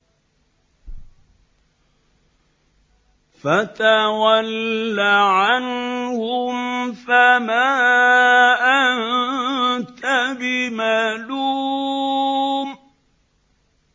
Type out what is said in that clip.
فَتَوَلَّ عَنْهُمْ فَمَا أَنتَ بِمَلُومٍ